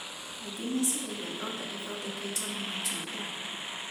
Aingĩ meciragia thonda ithondeketwo na matunda